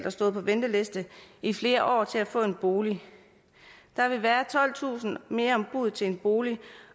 og stået på venteliste i flere år til at få en bolig der vil være tolvtusind mere om buddet til en bolig